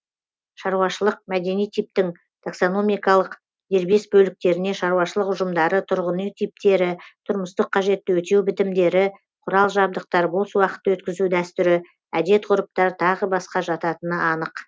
шаруашылық мәдени типтің таксономикалық дербес бөліктеріне шаруашылық ұжымдары тұрғын үй типтері тұрмыстық қажетті өтеу бітімдері құрал жабдықтар бос уақытты өткізу дәстүрі әдет ғұрыптар тағы басқа жататыны анық